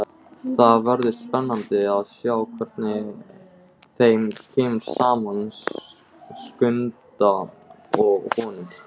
Það verður spennandi að sjá hvernig þeim kemur saman, Skunda og honum.